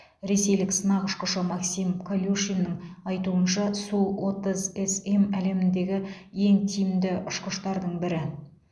ресейлік сынақ ұшқышы максим колюшиннің айтуынша су отыз см әлемдегі ең тиімді ұшқыштардың бірі